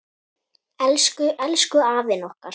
Elsku, elsku afinn okkar.